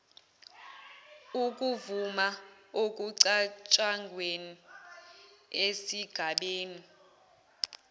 ukuvuma okucatshangwe esigabeni